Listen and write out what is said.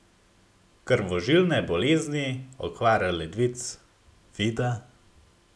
Krvožilne bolezni, okvara ledvic, vida ...